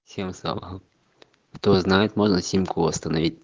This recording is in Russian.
всем салам кто знает можно симку остановить